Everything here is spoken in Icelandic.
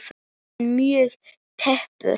Er hann mjög tæpur?